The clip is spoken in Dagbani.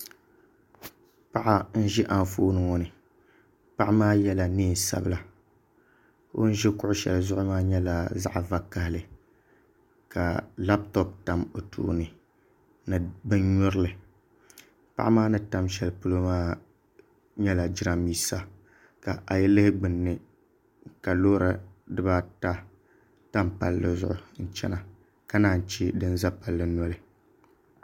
Paɣa n ʒi anfooni. ŋo ni paɣa maa yɛla neen sabila ka o ni ʒi kuɣu shɛli zuɣu maa nyɛ kuɣu vakaɣali ka labtop tam o tooni ni bin nyurili paɣa maa ni tam shɛli polo maa nyɛla jiranbiisa ka ayi lihi gbunni ka loori dibaata tam palli zuɣu n chɛna ka naan chɛ din ʒɛ palli noli